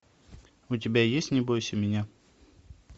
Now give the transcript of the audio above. у тебя есть не бойся меня